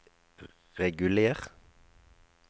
reguler